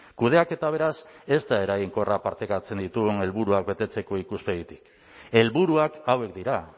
kudeaketa beraz ez da eraginkorra partekatzen ditugun helburuak betetzeko ikuspegitik helburuak hauek dira